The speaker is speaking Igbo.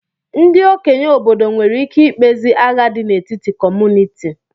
Ndị okenye obodo nwere ike ikpezi agha dị n'etiti kọmunịti